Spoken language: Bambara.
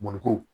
Mɔnikuru